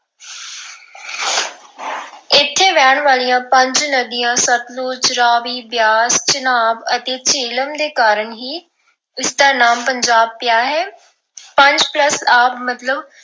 ਇੱਥੇ ਵਹਿਣ ਵਾਲਿਆਂ ਪੰਜ ਨਦੀਆਂ, ਸਤਲੁਜ, ਰਾਵੀ, ਬਿਆਸ, ਚਨਾਬ ਅਤੇ ਜੇਹਲਮ ਦੇ ਕਾਰਨ ਹੀ ਇਸਦਾ ਨਾਮ ਪੰਜਾਬ ਪਿਆ ਹੈ। ਪੰਜ plus ਆਬ ਮਤਲਬ।